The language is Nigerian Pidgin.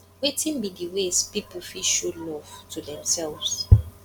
wetin be di ways people fit show love to demselves